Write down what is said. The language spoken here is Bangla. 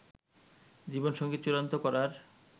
জীবনসঙ্গী চূড়ান্ত করার